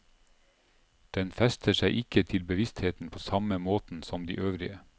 Den fester seg ikke til bevisstheten på samme måten som de øvrige.